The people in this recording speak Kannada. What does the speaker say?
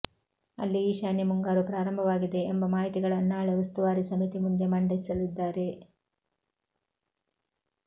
ಅಲ್ಲಿ ಈಶಾನ್ಯ ಮುಂಗಾರು ಪ್ರಾರಂಭವಾಗಿದೆ ಎಂಬ ಮಾಹಿತಿಗಳನ್ನು ನಾಳೆ ಉಸ್ತುವಾರಿ ಸಮಿತಿ ಮುಂದೆ ಮಂಡಿಸಲಿದ್ದಾರೆ